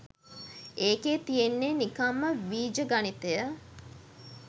ඒකෙ තියෙන්නෙ නිකංම වීජ ගණිතය